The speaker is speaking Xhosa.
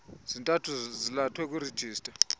zintathu zalathwe kwirejista